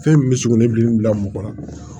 Fɛn min bɛ sugunɛ gilan ni bila mɔgɔ kɔnɔ